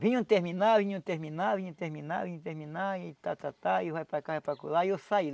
vinham terminar, vinham terminar, vinham terminar, vinham terminar, e tá, tá, tá, e vai para cá, vai para lá, e eu saí.